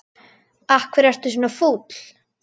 Af hverju ertu svona fúll?